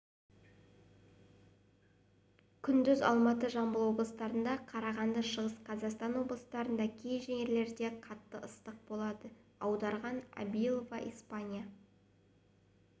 күндіз алматы жамбыл облыстарында қарағанды шығыс қазақстан облыстарының кей жерлерінде қатты ыстық болады аударған абилова испания